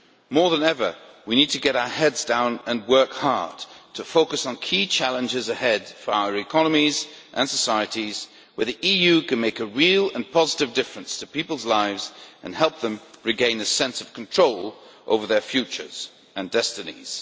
More than ever, we need to get our heads down and work hard to focus on key challenges ahead for our economies and societies areas where the EU can make a real and positive difference to people's lives and help them regain a sense of control over their futures and destinies.